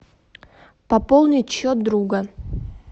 пополнить счет друга